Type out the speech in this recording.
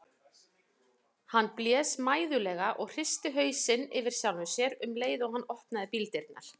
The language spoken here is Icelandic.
Hann blés mæðulega og hristi hausinn yfir sjálfum sér um leið og hann opnaði bíldyrnar.